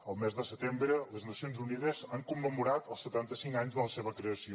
el mes de setembre les nacions unides han commemorat els setanta cinc anys de la seva creació